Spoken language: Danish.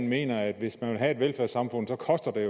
mener at hvis man vil have et velfærdssamfund så koster det